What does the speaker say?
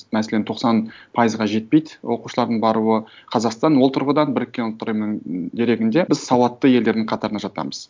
мәселен тоқсан пайызға жетпейді оқушылардың баруы қазақстан ол тұрғыдан біріккен ұлттар ұйымының дерегінде біз сауатты елдердің қатарына жатамыз